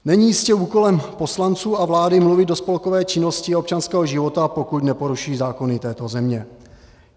Není jistě úkolem poslanců a vlády mluvit o spolkové činnosti občanského života, pokud neporuší zákony této země.